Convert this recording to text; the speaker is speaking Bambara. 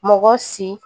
Mɔgɔ si